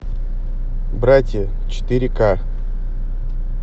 братья четыре ка